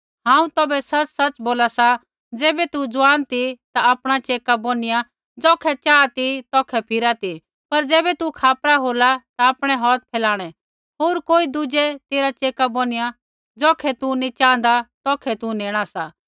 हांऊँ तौभै सच़सच़ बोला सा ज़ैबै तू जुआन ती ता आपणा चेका बौनियाँ ज़ौखै चाहा ती तौखै फिरा ती पर ज़ैबै तू खापरा होल्ला ता आपणै हौथ फैलाणै होर कोई दुज़ै तेरा चेका बौनियाँ ज़ौखै तू नैंई च़ाँहदा तौखै तू नेणा सा